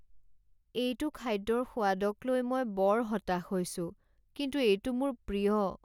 এইটো খাদ্যৰ সোৱাদক লৈ মই বৰ হতাশ হৈছো কিন্তু এইটো মোৰ প্ৰিয়।